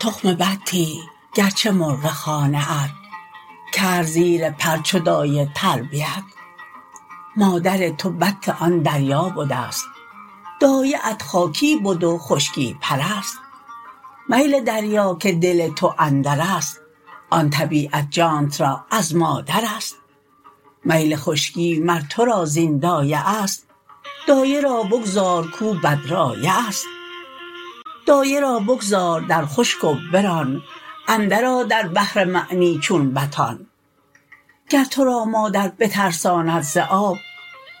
تخم بطی گرچه مرغ خانه ات کرد زیر پر چو دایه تربیت مادر تو بط آن دریا بدست دایه ات خاکی بد و خشکی پرست میل دریا که دل تو اندرست آن طبیعت جانت را از مادرست میل خشکی مر تو را زین دایه است دایه را بگذار کو بدرایه است دایه را بگذار در خشک و بران اندر آ در بحر معنی چون بطان گر تو را مادر بترساند ز آب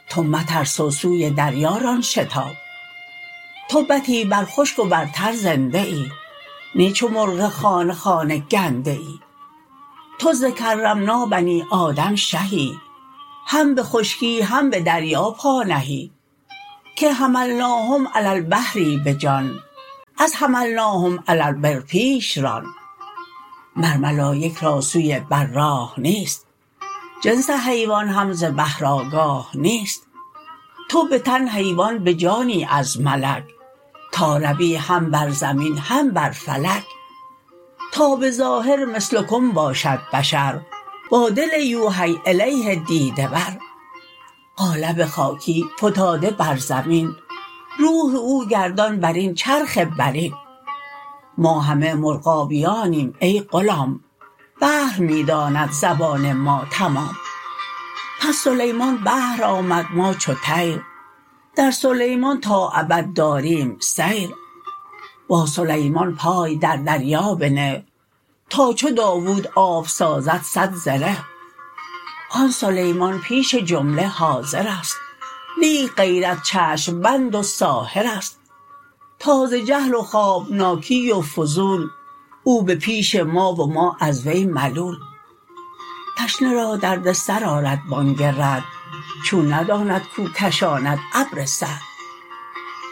تو مترس و سوی دریا ران شتاب تو بطی بر خشک و بر تر زنده ای نی چو مرغ خانه خانه گنده ای تو ز کرمنا بنی آدم شهی هم به خشکی هم به دریا پا نهی که حملناهم علی البحر بجان از حملناهم علی البر پیش ران مر ملایک را سوی بر راه نیست جنس حیوان هم ز بحر آگاه نیست تو به تن حیوان به جانی از ملک تا روی هم بر زمین هم بر فلک تا بظاهر مثلکم باشد بشر با دل یوحی الیه دیده ور قالب خاکی فتاده بر زمین روح او گردان برین چرخ برین ما همه مرغابیانیم ای غلام بحر می داند زبان ما تمام پس سلیمان بحر آمد ما چو طیر در سلیمان تا ابد داریم سیر با سلیمان پای در دریا بنه تا چو داود آب سازد صد زره آن سلیمان پیش جمله حاضرست لیک غیرت چشم بند و ساحرست تا ز جهل و خوابناکی و فضول او به پیش ما و ما از وی ملول تشنه را درد سر آرد بانگ رعد چون نداند کو کشاند ابر سعد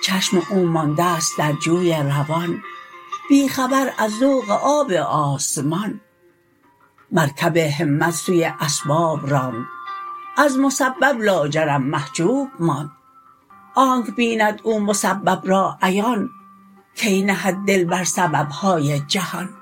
چشم او ماندست در جوی روان بی خبر از ذوق آب آسمان مرکب همت سوی اسباب راند از مسبب لاجرم محجوب ماند آنک بیند او مسبب را عیان کی نهد دل بر سببهای جهان